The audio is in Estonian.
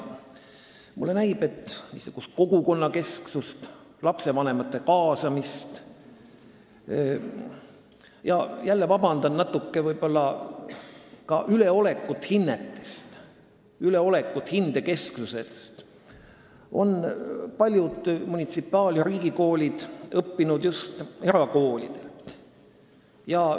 Mulle näib, et niisugust kogukonnakesksust, lastevanemate kaasamist ja natuke võib-olla – palun vabandust – ka üleolekut hinnetest, üleolekut hindekesksusest on paljud munitsipaal- ja riigikoolid õppinud just erakoolidelt.